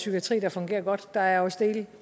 psykiatri der fungerer godt der er også dele